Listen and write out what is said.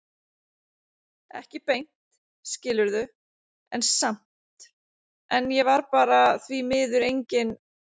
Ekki beint, skilurðu, en samt- En ég var bara því miður engin